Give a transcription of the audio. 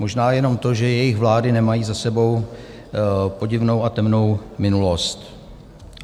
Možná jenom to, že jejich vlády nemají za sebou podivnou a temnou minulost.